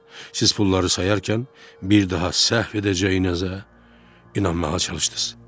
Siz pulları sayarkən bir daha səhv edəcəyinizə inanmağa çalışdınız.